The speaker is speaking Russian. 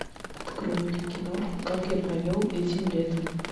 открой мне киноху как я провел этим летом